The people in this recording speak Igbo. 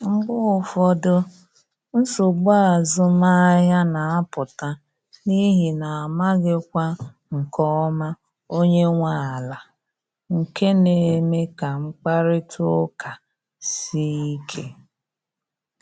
Mgbe ụfọdụ, nsogbu azụmahịa na apụta n’ihi na amaghịkwa nke ọma onye nwe ala, nke na eme ka mkparịta ụka sie ike